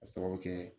K'a sababu kɛ